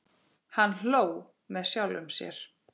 Hann hló með sjálfum sér.